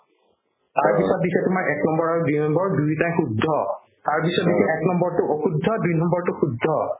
তাৰপিছত দিছে তোমাৰ এক নম্বৰ আৰু দুই নম্বৰ দুয়োটায়ে শুদ্ধ তাৰপিছত দিছে এক নম্বৰটো অশুদ্ধ দুই নম্বৰটো শুদ্ধ